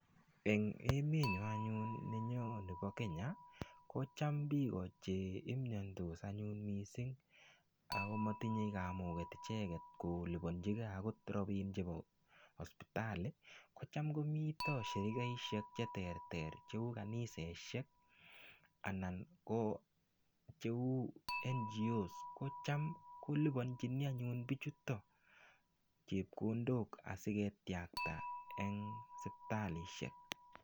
Eng' emenyo anyun nenyo nebo Kenya ko cham biko cheimiyondos anyun mising' ako matinyei kamuget icheget kolipanjigei akot robin chebo hospitali kocham komito shirikaishek cheterter cheu kaniseshek anan ko cheu NGO ko cham kolipanjini anyun bichutok chepkondok asiketiakta eng' sipitalishek